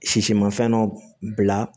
Sisi ma fɛn dɔ bila